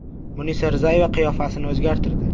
Munisa Rizayeva qiyofasini o‘zgartirdi?!.